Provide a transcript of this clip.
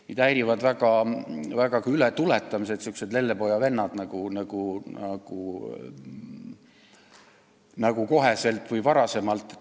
Mind häirivad vägagi ületuletamised, sihukesed lellepojavennad nagu "koheselt" või "varasemalt".